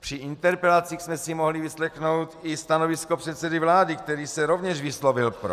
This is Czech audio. Při interpelacích jsme si mohli vyslechnout i stanovisko předsedy vlády, který se rovněž vyslovil pro.